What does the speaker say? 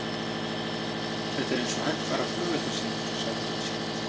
Þetta er eins og hægfara flugeldasýning, sagði Richard.